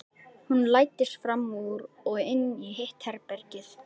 Hún læddist fram úr og inn í hitt herbergið.